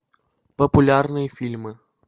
популярные фильмы